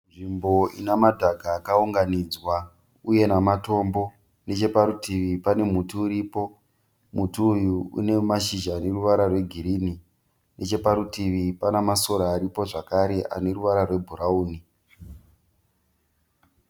Nzvimbo ina madhaka akaunganidzwa uye namatombo. Nechaparutivi pane muti uripo. Muti uyu une mashizha ane ruvara rwegirinhi. Necheparutivi pane masora aripo zvakare ane ruvara rwebhurauni.